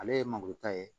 Ale ye mangoro ta ye